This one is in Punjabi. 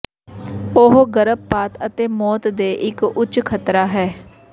ਉਹ ਗਰਭਪਾਤ ਅਤੇ ਮੌਤ ਦੇ ਇੱਕ ਉੱਚ ਖ਼ਤਰਾ ਹੈ